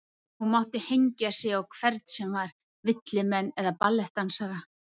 Hún mátti hengja sig á hvern sem var, villimenn eða ballettdansara.